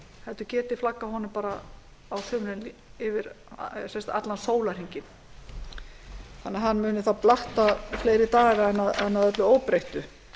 heldur geti flaggað honum á sumrin yfir allan sólarhringinn þannig að hann muni þá blakta fleiri daga en að öllu óbreyttu